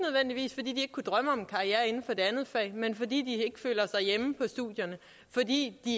kunne drømme om en karriere inden for det andet fag men fordi de ikke føler sig hjemme på studierne fordi de